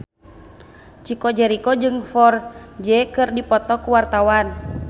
Chico Jericho jeung Ferdge keur dipoto ku wartawan